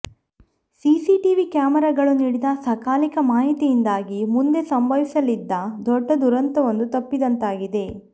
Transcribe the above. CCTV ಕ್ಯಾಮೆರಾಗಳು ನೀಡಿದ ಸಕಾಲಿಕ ಮಾಹಿತಿಯಿಂದಾಗಿ ಮುಂದೆ ಸಂಭವಿಸಲಿದ್ದ ದೊಡ್ಡ ದುರಂತವೊಂದು ತಪ್ಪಿಸಿದಂತಾಗಿದೆ